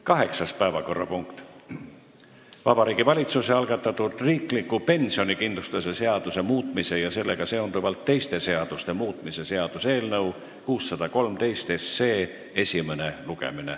Kaheksas päevakorrapunkt: Vabariigi Valitsuse algatatud riikliku pensionikindlustuse seaduse muutmise ja sellega seonduvalt teiste seaduste muutmise seaduse eelnõu 613 esimene lugemine.